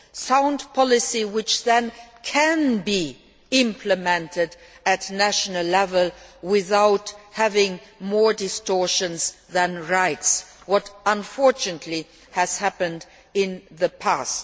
Sound policy which then can be implemented at national level without creating more distortions than rights, as unfortunately has happened in the past.